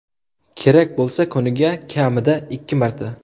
Kerak bo‘lsa kuniga kamida ikki marta.